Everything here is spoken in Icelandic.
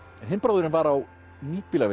hinn bróðirin var á